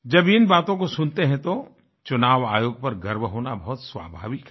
जब इन बातों को सुनते हैं तो चुनाव आयोग पर गर्व होनाबहुत स्वाभाविक है